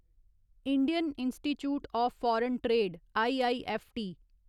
Indian institute of foreign trade IIFT